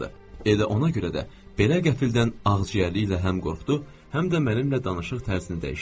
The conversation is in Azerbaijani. Elə ona görə də belə qəfildən ağciyərlikli ilə həm qorxdu, həm də mənimlə danışıq tərzini dəyişdi.